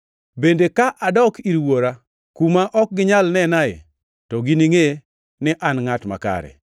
Bende ka adok ir Wuora, kuma ok ginyal nenae, to giningʼe ni an ngʼat makare;